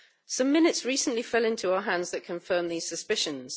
Some minutes recently fell into our hands that confirm these suspicions.